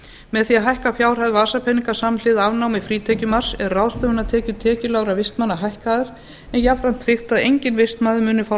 með því að hækka fjárhæð vasapeninga samhliða afnámi frítekjumarks er ráðstöfunartekjur tekjulágra vistmanna hækkaðar en jafnframt tryggt að enginn vistmaður muni fá